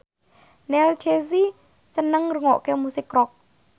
Neil Casey seneng ngrungokne musik rock